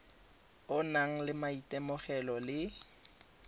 o nang le maitemogelo le